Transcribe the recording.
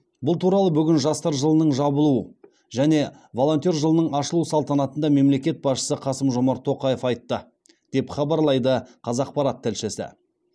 бұл туралы бүгін жастар жылының жабылу және волонтер жылының ашылу салтанатында мемлекет басшысы қасым жомарт тоқаев айтты деп хабарлайды қазақпарат тілшісі